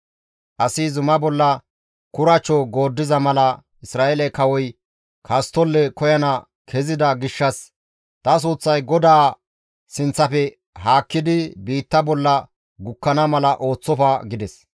Asi zuma bolla kuracho gooddiza mala Isra7eele kawoy kasttolle koyana kezida gishshas ta suuththay GODAA sinththafe haakkidi biitta bolla gukkana mala ooththofa» gides.